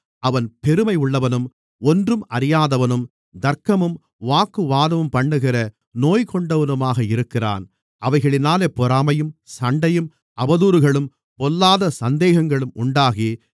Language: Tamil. அவன் பெருமை உள்ளவனும் ஒன்றும் அறியாதவனும் தர்க்கமும் வாக்குவாதமும் பண்ணுகிற நோய்கொண்டவனுமாக இருக்கிறான் அவைகளினாலே பொறாமையும் சண்டையும் அவதூறுகளும் பொல்லாத சந்தேகங்களும் உண்டாகி